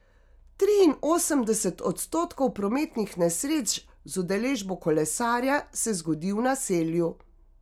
Triinosemdeset odstotkov prometnih nesreč z udeležbo kolesarja se zgodi v naselju.